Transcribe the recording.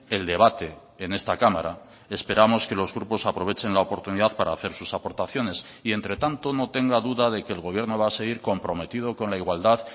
el debate en esta cámara esperamos que los grupos aprovechen la oportunidad para hacer sus aportaciones y entre tanto no tenga duda de que el gobierno va a seguir comprometido con la igualdad